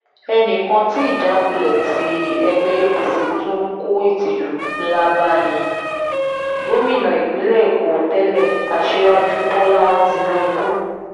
ẹnì kan tí ìjákulẹ̀ tí ẹgbẹ́ apc tún kó ìtìjú ńlá bá ní gómìnà ìpínlẹ̀ èkó tẹ́lẹ̀ aṣíwájú bọ́lá tínúbù